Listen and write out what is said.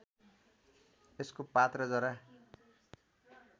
यसको पात र जरा